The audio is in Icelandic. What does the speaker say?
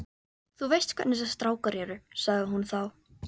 Þú veist hvernig þessir strákar eru sagði hún þá.